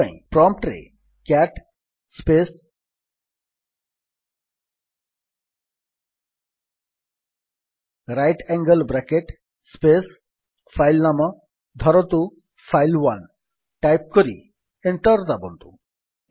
ଏଥିପାଇଁ ପ୍ରମ୍ପ୍ଟ୍ ରେ cat space right angle bracket space file ନାମ ଧରନ୍ତୁ ଫାଇଲ୍1 ଟାଇପ୍ କରି ଏଣ୍ଟର୍ ଦାବନ୍ତୁ